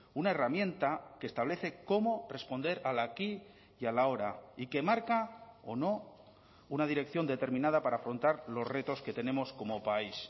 una herramienta que establece cómo responder al aquí y al ahora y que marca o no una dirección determinada para afrontar los retos que tenemos como país